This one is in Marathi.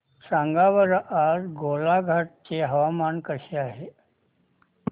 सांगा बरं आज गोलाघाट चे हवामान कसे आहे